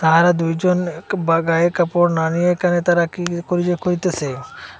আরও দুইজন এক বা গায়ে কাপড় না নিয়ে এখানে তারা কী করি করিতেস।